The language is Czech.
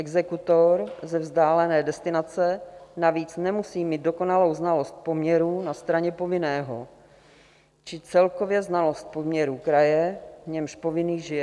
Exekutor ze vzdálené destinace navíc nemusí mít dokonalou znalost poměrů na straně povinného či celkově znalost poměrů kraje, v němž povinný žije.